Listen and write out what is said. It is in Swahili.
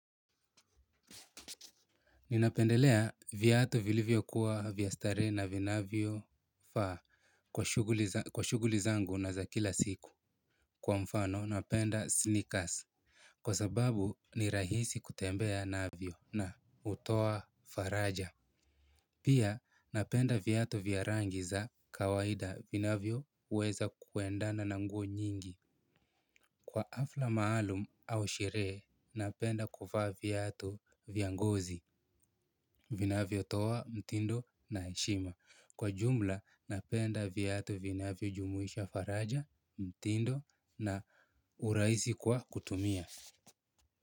Ninapendelea viatu vilivyo kuwa vya starehe na vinavyo faa kwa shughuli zangu na za kila siku. Kwa mfano napenda sneakers. Kwa sababu ni rahisi kutembea navyo na hutoa faraja. Pia napenda viatu vya rangi za kawaida vinavyo weza kuendana na nguo nyingi. Kwa hafla maalum au sherehe napenda kuvaa viatu vya ngozi. Vinavyotoa mtindo na heshima. Kwa jumla napenda viatu vinavyo jumuisha faraja mtindo na urahisi kwa kutumia.